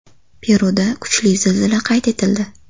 Peruda kuchli zilzila qayd etildi.